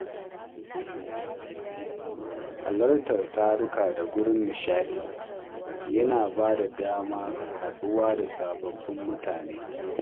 Halartar taruka da wuraren nishaɗi yana ba da damar haɗuwa da sababbin mutane.